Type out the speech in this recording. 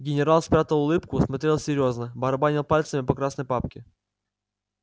генерал спрятал улыбку смотрел серьёзно барабанил пальцами по красной папке